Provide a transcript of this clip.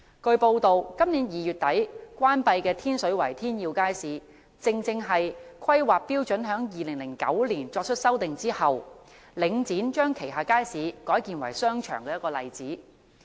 據報道，今年2月底關閉的天水圍天耀街市，正是在2009年修訂《規劃標準》後，領展將旗下街市改建為商場的例子。